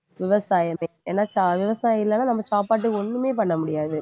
விவசாயமே ஏன்னா தா~ விவசாயம் இல்லைன்னா நம்ம சாப்பாட்டுக்கு ஒண்ணுமே பண்ண முடியாது